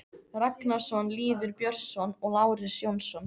Ragnarsson, Lýður Björnsson og Lárus Jónsson.